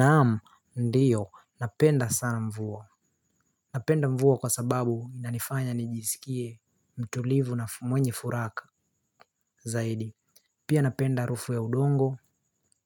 Naam ndio napenda sana mvua napenda mvua kwa sababu yanifanya nijisikie mtulivu na mwenye furaka zaidi. Pia napenda harufu ya udongo